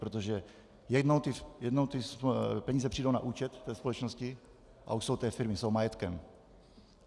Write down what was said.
Protože jednou ty peníze přijdou na účet té společnosti a už jsou té firmy, jsou majetkem.